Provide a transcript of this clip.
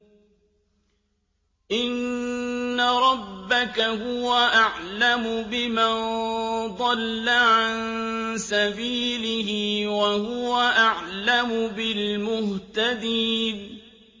إِنَّ رَبَّكَ هُوَ أَعْلَمُ بِمَن ضَلَّ عَن سَبِيلِهِ وَهُوَ أَعْلَمُ بِالْمُهْتَدِينَ